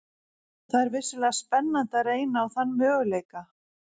Það er vissulega spennandi að reyna á þann möguleika.